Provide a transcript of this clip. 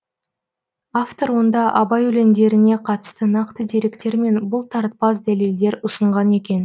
автор онда абай өлеңдеріне қатысты нақты деректер мен бұлтартпас дәлелдер ұсынған екен